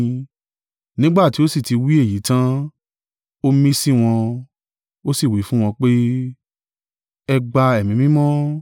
Nígbà tí ó sì ti wí èyí tan, ó mí sí wọn, ó sì wí fún wọn pé, “Ẹ gba Ẹ̀mí Mímọ́!